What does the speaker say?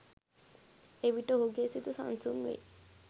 එවිට ඔහුගේ සිත සන්සුන් වෙයි